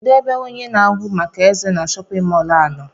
Kedụ ebe ọnye na ahụ màkà eze na shóppin mol a nọ?